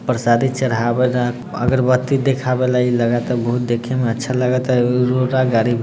प्रसादी चढ़ावे ला अगरबत्ती देखावे ला लागत बहुत देखे में अच्छा लागत रोड -गारी --